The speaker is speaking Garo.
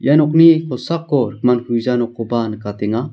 ia nokni kosako rikmankugija nokkoba nikatenga.